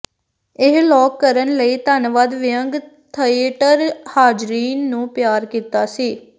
ਇਹ ਲੋਕ ਕਰਨ ਲਈ ਧੰਨਵਾਦ ਵਿਅੰਗ ਥੀਏਟਰ ਹਾਜ਼ਰੀਨ ਨੂੰ ਪਿਆਰ ਕੀਤਾ ਸੀ